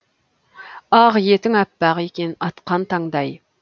ақ етің аппақ екен атқан таңдай